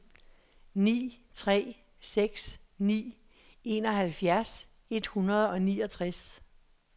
ni tre seks ni enoghalvfjerds et hundrede og niogtres